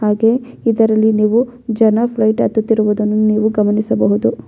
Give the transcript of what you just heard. ಹಾಗೆ ಇದರಲ್ಲಿ ನೀವು ಜನ ಫ್ಲೈಟ್ ಹತ್ತುತ್ತಿರುವುದನ್ನು ನೀವು ಗಮನಿಸಬಹುದು .